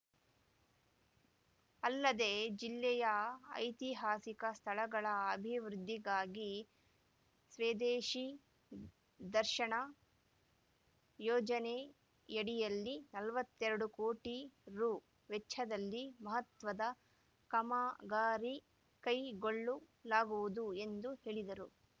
ಅಲ್ಲದೆ ಜಿಲ್ಲೆಯ ಐತಿಹಾಸಿಕ ಸ್ಥಳಗಳ ಅಭಿವೃದ್ಧಿಗಾಗಿ ಸ್ವೆದೇಶಿ ದರ್ಶನ ಯೋಜನೆಯಡಿಯಲ್ಲಿ ನಲವತ್ತೆರಡು ಕೋಟಿ ರುವೆಚ್ಚದಲ್ಲಿ ಮಹತ್ವದ ಕಮ್ಮಗಾರಿ ಕೈಗೊಳ್ಳಲಾಗುವುದು ಎಂದು ಹೇಳಿದರು